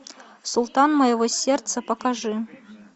султан моего сердца покажи